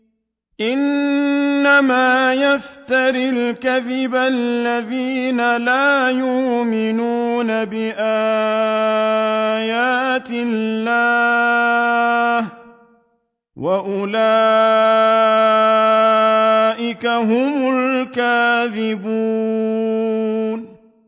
إِنَّمَا يَفْتَرِي الْكَذِبَ الَّذِينَ لَا يُؤْمِنُونَ بِآيَاتِ اللَّهِ ۖ وَأُولَٰئِكَ هُمُ الْكَاذِبُونَ